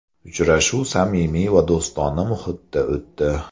Uchrashuv samimiy va do‘stona muhitda o‘tdi.